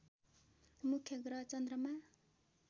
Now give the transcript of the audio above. मुख्य ग्रह चन्द्रमा